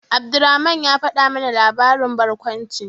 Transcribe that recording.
Abdulrahman ya faɗa mana labarin barkwanci.